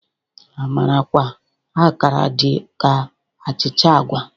Amarakwa Akara dị ka achịcha agwa.